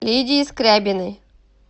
лидии скрябиной